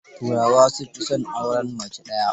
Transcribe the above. Turawa sun fi son auren mace daya.